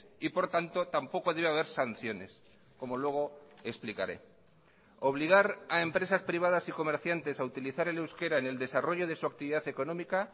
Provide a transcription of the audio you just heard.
y por tanto tampoco debe haber sanciones como luego explicaré obligar a empresas privadas y comerciantes a utilizar el euskera en el desarrollo de su actividad económica